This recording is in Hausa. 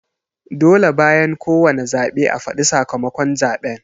Dole bayan ko wane zaɓe a fadi sakamakon zaɓen